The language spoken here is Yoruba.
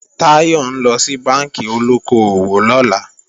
Táyọ̀ ńlọ sí bánkì olóko-òwò lọ́la